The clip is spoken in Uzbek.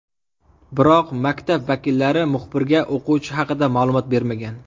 Biroq maktab vakillari muxbirga o‘quvchi haqida ma’lumot bermagan.